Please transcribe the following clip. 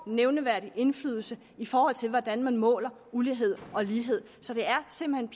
nævneværdig indflydelse i forhold til hvordan man måler ulighed og lighed så det er simpelt